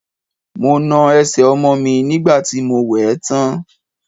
Mo na ẹsẹ̀ ọmọ mi nígbà tí mo wẹ̀ ẹ́ tán.